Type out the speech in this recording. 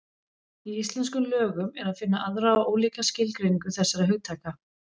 Í íslenskum lögum er að finna aðra og ólíka skilgreiningu þessara hugtaka.